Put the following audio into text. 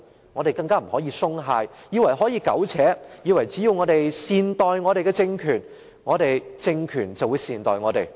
我們更不可以鬆懈，以為可以苟且，以為只要我們善待政權，政權便會善待我們。